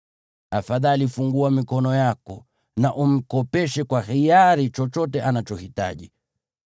Afadhali fungua mikono yako na umkopeshe kwa hiari chochote anachohitaji.